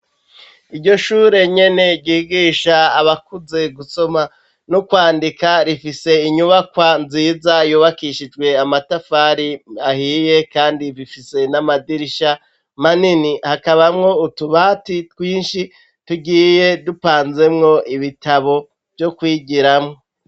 Iryo shure nyene ryigisha abakuze gusoma no kwandika rifise inyubakwa nziza yubakishijwe amatafari ahiye kandi bifise n'amadirisha manini hakabamwo utubati twinshi tugiye dupanzemwo ibitabo vyo kwigiramwo.